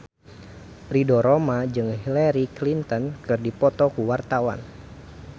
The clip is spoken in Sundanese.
Ridho Roma jeung Hillary Clinton keur dipoto ku wartawan